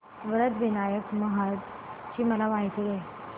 वरद विनायक महड ची मला माहिती दे